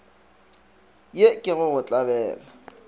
ye ke go go tlabela